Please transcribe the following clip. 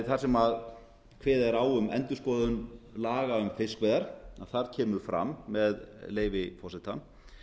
þar sem kveðið er á um endurskoðun laga um fiskveiðar þar kemur fram með leyfi forseta